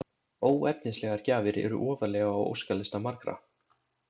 Óefnislegar gjafir eru ofarlega á óskalista margra.